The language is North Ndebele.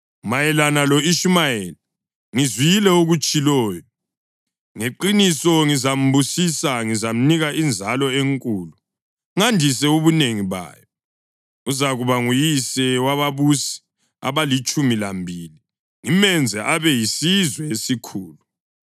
Mayelana lo-Ishumayeli, ngizwile okutshiloyo: ngeqiniso ngizambusisa; ngizamnika inzalo enkulu, ngandise ubunengi bayo. Uzakuba nguyise wababusi abalitshumi lambili, ngimenze abe yisizwe esikhulu.